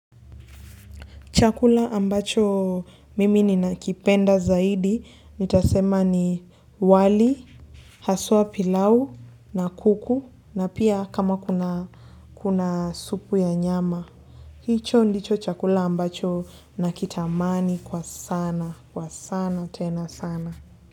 Chakula ambacho mimi ninakipenda zaidi, nitasema ni wali, haswa pilau na kuku na pia kama kuna kuna supu ya nyama. Hicho ndicho chakula ambacho nakitamani kwa sana, kwa sana, tena sana.